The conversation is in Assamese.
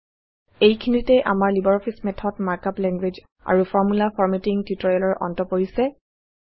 এইখিনিতে আমাৰ লাইব্ৰঅফিছ Math ত মাৰ্ক আপ লেংগুৱেজ আৰু ফৰ্মুলা ফৰমেটিং টিউটৰিয়েলৰ অন্ত পৰিছে